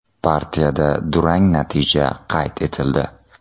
Partiyada durang natija qayd etildi.